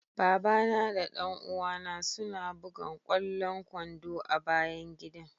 Baba na da dan uwa na suna bugan kwallon kwando a'bayan gidan.